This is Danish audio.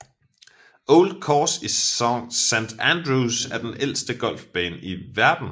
Old Course i St Andrews er den ældste golfbane i verden